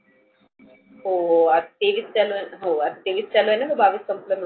हो तेवीस चालू आहेना. आज तेवीस चालू आहेना गं बावीस संपल.